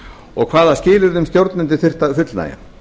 og hvaða skilyrðum stjórnendur þyrftu að fullnægja